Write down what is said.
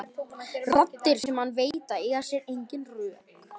Raddir sem hann veit að eiga sér engin rök.